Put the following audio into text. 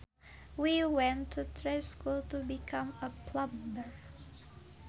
He went to trade school to become a plumber